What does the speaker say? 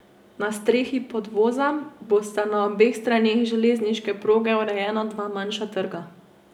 Na strehi podvoza bosta na obeh straneh železniške proge urejena dva manjša trga.